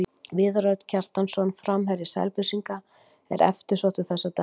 Viðar Örn Kjartansson, framherji Selfyssinga, er eftirsóttur þessa dagana.